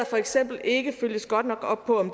for eksempel ikke følges godt nok op på